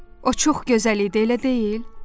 O çox gözəl idi, elə deyil?